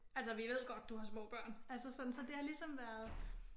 Altså vi ved godt du har små børn altså sådan så det har ligesom været